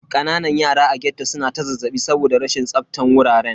Kananan yara a ghetto su na ta zazzaɓi saboda rashin tsaftan wuraren.